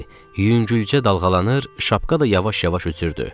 Yüngülcə dalğalanır, şapka da yavaş-yavaş üzürdü.